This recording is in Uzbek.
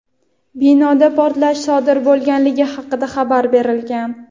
Binoda portlash sodir bo‘lganligi haqida xabar berilgan.